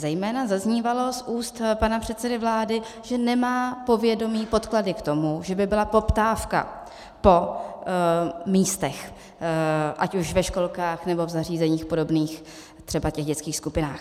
Zejména zaznívalo z úst pana předsedy vlády, že nemá povědomí, podklady k tomu, že by byla poptávka po místech ať už ve školkách, nebo v zařízeních podobných, třeba těch dětských skupinách.